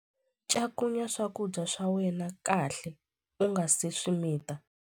Cakunya swakudya swa wena kahle u nga si swi mita.